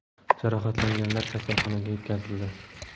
Jarohatlanganlar kasalxonaga yetkazildi.